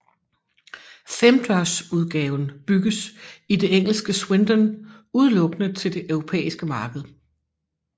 Femdørsudgaven bygges i det engelske Swindon udelukkende til det europæiske marked